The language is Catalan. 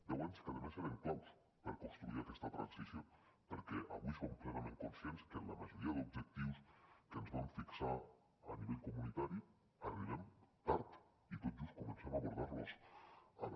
deu anys que a més eren claus per construir aquesta transició perquè avui som plenament conscients que en la majoria d’objectius que ens vam fixar a nivell comunitari arribem tard i tot just comencem a abordar los ara